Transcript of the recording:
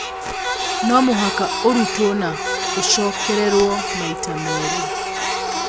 No mũhaka ũrutwo na ũcokererũo maita merĩ